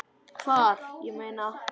Hvar, ég meina.